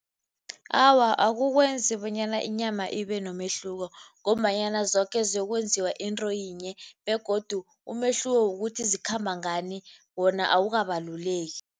Awa, akukwenzi bonyana inyama ibenomehluko ngombanyana zoke ziyokwenziwa into yinye begodu umehluko wokuthi zikhamba ngani wona awukabaluleki.